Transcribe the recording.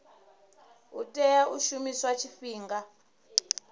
a tea u shumiswa tshifhinga